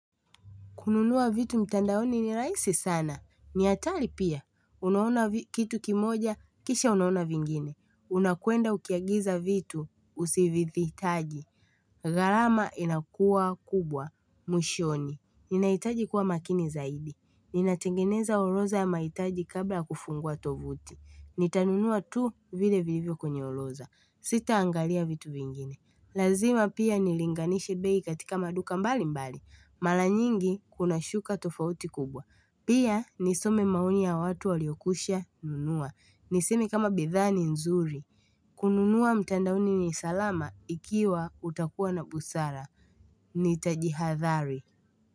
Kununua vitu mtandaoni ni rahisi sana. Ni hatari pia. Unaona kitu kimoja, kisha unaona vingine. Unakwenda ukiagiza vitu, usivithi itaji. Gharama inakua kubwa, mushoni. Ninahitaji kuwa makini zaidi. Ninatengeneza oroza ya maitaji kabla kufungua tovuti. Nitanunua tu vile vilivyo kwenye oroza. Sita angalia vitu vingine. Lazima pia nilinganishi bei katika maduka mbali mbali. Mara nyingi kuna shuka tofauti kubwa. Pia nisome maoni ya watu waliokusha nunua. Nisemi kama bidhaa ni nzuri. Kununua mtandaoni ni salama ikiwa utakuwa na busara. Ni tajihadhari.